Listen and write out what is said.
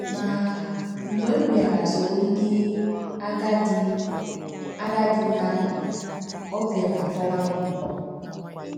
Ma, mgbe m bịara soro ndị agadi agadi na - anọ, ọ bịara tọwa m ụtọ.